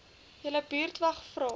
julle buurtwag vra